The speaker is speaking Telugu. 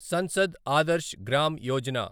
సంసద్ ఆదర్శ్ గ్రామ్ యోజన